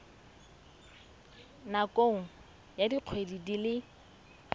nakong ya dikgwedi di le